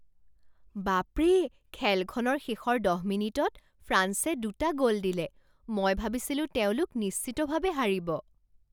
বাপৰে! খেলখনৰ শেষৰ দহ মিনিটত ফ্ৰান্সে দুটা গ'ল দিলে! মই ভাবিছিলো তেওঁলোক নিশ্চিতভাৱে হাৰিব।